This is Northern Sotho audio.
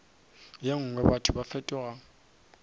ye nngwe batho ba fetoga